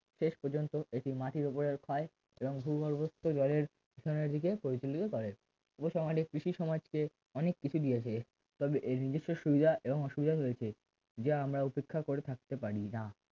শেষ পর্যন্ত এটি মাটির উপরের ক্ষয় এবং ভূগর্ভস্থ জলের পিছনের দিকের পরিচালিত করে উপসংহারে কৃষি সমাজকে অনেক কিছু দিয়েছে তবে এর নির্দিষ্ট সুবিধা এবং অসুবিধা রয়েছে যা আমরা উপেক্ষা করে থাকতে পারিনা